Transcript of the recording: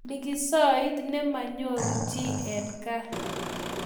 Likisoit ne manyoruu chii eng kaa.